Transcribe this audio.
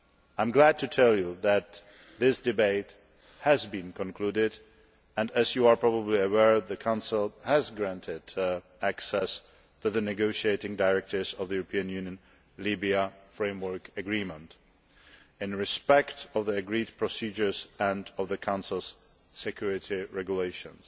I am glad to tell you that this debate has been concluded and, as you are probably aware, the Council has granted access to the negotiating directives of the European Union Libya Framework Agreement in respect of the agreed procedures and of the Council's security regulations.